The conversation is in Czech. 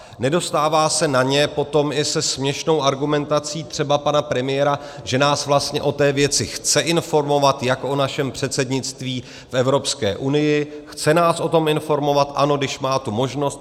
Nedostává se na ně potom i se směšnou argumentací třeba pana premiéra, že nás vlastně o té věci chce informovat, jak o našem předsednictví v Evropské unii, chce nás o tom informovat, ano, když má tu možnost.